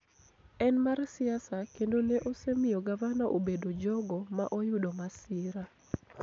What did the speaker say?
en mar siasa kendo ne osemiyo gavana obedo jogo ma oyudo masira